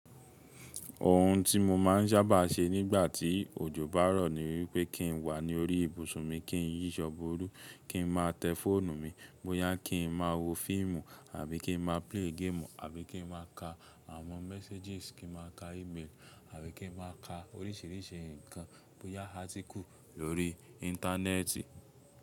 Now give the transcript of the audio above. Òhùn tí mo máa ń sábà ṣe nígbà tí òjò bá rọ̀ ni wípé kí n wà ní orí ibùsùn mi, kí n yí ìṣọ́ bọrú, kí n má tẹ fóònù mi bóyá kí n má wo fíìmù àbí kí n má play game àbí kí n má ka àwọn messages, kí n má ka email àbí kí n má ka oríṣìíríṣìí ǹkan bóyá artikù lórí íńtánẹ́ẹ̀tì.